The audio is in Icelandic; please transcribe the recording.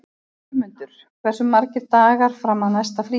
Jörmundur, hversu margir dagar fram að næsta fríi?